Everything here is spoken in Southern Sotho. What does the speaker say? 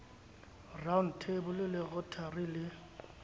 round table le rotary le